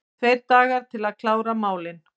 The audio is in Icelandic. Tveir dagar til að klára málin